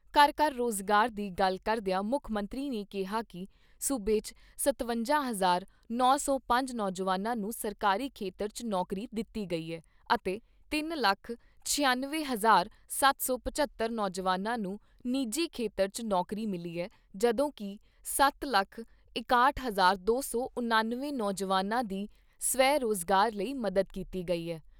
ਘਰ ਘਰ ਰੁਜ਼ਗਾਰ ਦੀ ਗੱਲ ਕਰਦਿਆਂ ਮੁੱਖ ਮੰਤਰੀ ਨੇ ਕਿਹਾ ਕਿ ਸੂਬੇ 'ਚ ਸਤਵੰਜਾ ਹਜ਼ਾਰ ਨੌ ਸੌ ਪੰਜ ਨੌਜਵਾਨਾਂ ਨੂੰ ਸਰਕਾਰੀ ਖੇਤਰ 'ਚ ਨੌਕਰੀ ਦਿੱਤੀ ਗਈ ਐ ਅਤੇ ਤਿੰਨ ਲੱਖ ਛਿਅਨਵੇਂ ਹਜ਼ਾਰ ਸੱਤ ਸੌ ਪਝੱਤਰ ਨੌਜਵਾਨਾਂ ਨੂੰ ਨਿੱਜੀ ਖੇਤਰ 'ਚ ਨੌਕਰੀ ਮਿਲੀ ਐ ਜਦੋਂ ਕਿ ਸੱਤ ਲੱਖ ਇਕਾਹਠ ਹਜ਼ਾਰ ਦੋ ਸੌ ਉਣਾਸੀ, ਨੌਜਵਾਨਾਂ ਦੀ ਸਵੈ ਰੁਜ਼ਗਾਰ ਲਈ ਮਦਦ ਕੀਤੀ ਗਈ ਐ।